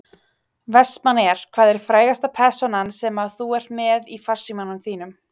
Vestmannaeyjar Hvað er frægasta persónan sem að þú ert með í farsímanum þínum?